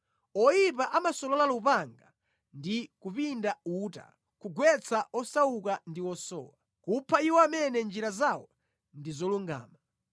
Oyipa amasolola lupanga ndi kupinda uta kugwetsa osauka ndi osowa, kupha iwo amene njira zawo ndi zolungama.